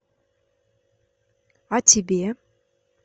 а тебе